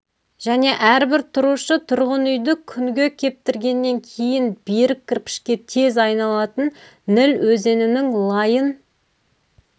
және әрбір тұрушы тұрғын үйді күнге кептіргеннен кейін берік кірпішке тез айланатын ніл өзенінің лайын